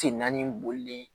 Tenna ni boli de ye